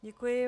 Děkuji.